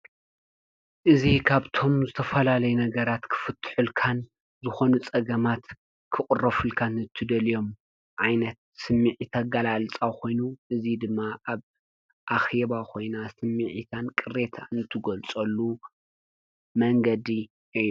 እዚ ካብቶም ዝተፈላለዩ ነገራት ክፍቱሕልካን ዝኾኑ ፀገማት ክቅረፉልካን ትደልዮም ዓይነት ስሚዒት ኣገላልፃ ኮይኑ እዚ ድማ ኣብ ኣኼባ ኮይና ስምዒታን ቅሬታን ትግልፀሉ መንገዲ እዩ።